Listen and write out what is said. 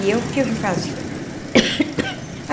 E eu o que que eu fazia?